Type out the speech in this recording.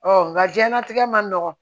nka diɲɛnatigɛ man nɔgɔ